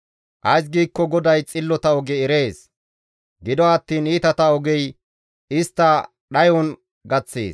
Ays giikko GODAY xillota oge erees; gido attiin iitata ogey istta dhayon gaththees.